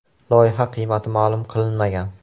Loyiha qiymati ma’lum qilinmagan.